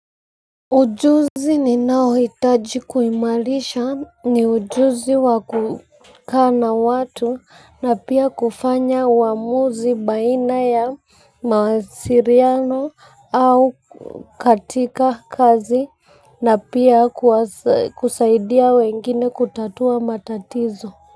Ujuzi ninaohitaji kuimalisha ni ujuzi wakukaa na watu na pia kufanya uamuzi baina ya mawasiliano au katika kazi na pia kusaidia wengine kutatua matatizo.